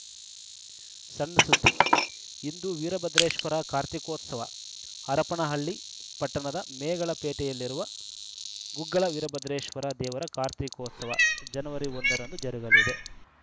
ಸಣ್‌ ಸುದ್ದಿ ಇಂದು ವೀರಭದ್ರೇಶ್ವರ ಕಾರ್ತೀಕೋತ್ಸವ ಹರಪನಹಳ್ಳಿ ಪಟ್ಟಣದ ಮೇಗಳಪೇಟೆಯಲ್ಲಿರುವ ಗುಗ್ಗಳ ವೀರಭದ್ರೇಶ್ವರ ದೇವರ ಕಾರ್ತೀಕೋತ್ಸವ ಜನವರಿ ಒಂದ ರಂದು ಜರುಗಲಿದೆ